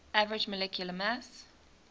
average molecular mass